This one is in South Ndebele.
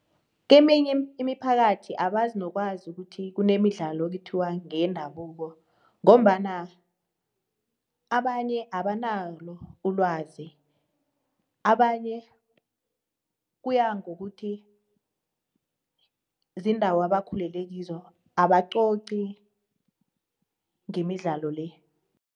Keminye imiphakathi abazi nokwazi ukuthi kunemidlalo ukuthiwa ngeyendabuko ngombana abanye abanalo ulwazi, abanye ukuya ngokuthi ziindawo abakhulileko abanqoqi ngemidlalo le.